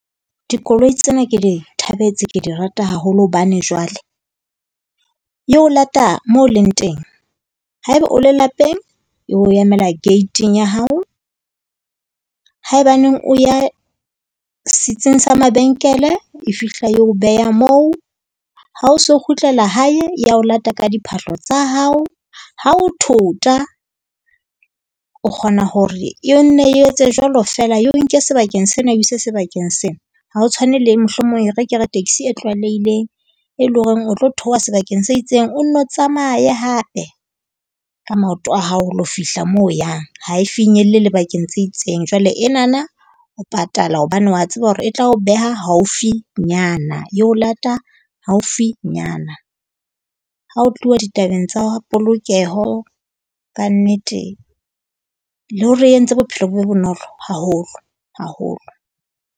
Dikoloi tsena ke di thabetse, ke di rata haholo hobane jwale. E o lata moo leng teng. Haeba o le lapeng, e o emela gate-ing ya hao. Haebaneng o ya setsing sa mabenkele e fihla e o beha moo, ha o so kgutlela hae, e a ho lata ka diphahlo tsa hao. Ha o thota o kgona hore e nne etse jwalo feela, e o nke sebakeng sena e o ise sebakeng sena. Ha ho tshwane le mohlomong e re ke re taxi e tlwaelehileng e leng hore o tlo theoha sebakeng se itseng. O nno tsamaye hape ka maoto a hao, ho lo fihla moo o yang. Ha e finyelle le bakeng tse itseng. Jwale enana o patala hobane wa tseba hore e tla o beha haufinyana, e o lata haufinyana. Ha ho tluwa ditabeng tsa polokeho kannete, le hore e entse bophelo bo be bonolo haholo, haholo.